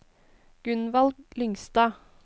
Gunvald Lyngstad